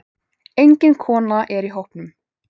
Engin kona er í hópnum.